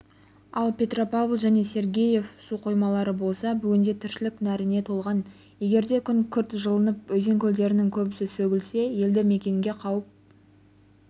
ал петропавл және сергеев су қоймалары болса бүгінде тіршілік нәріне толған егерде күн күрт жылынып өзен-көлдердің көбесі сөгілсе елді мекенге қауіп